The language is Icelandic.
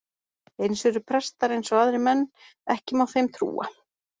Eins eru prestar eins og aðrir menn, ekki má þeim trúa.